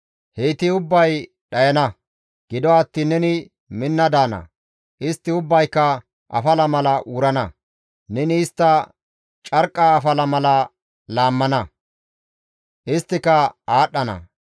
Heyti ubbay dhayana; gido attiin neni minna daana; istti ubbayka afala mala wurana; neni istta carqqa mala laammana; isttika aadhdhana.